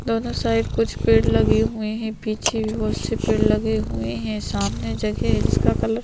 दोनों साइड कुछ पेड़ लगे हुए है पीछे भी बहुत से पेड़ लगे हुए है सामने जगह है जिसका कलर --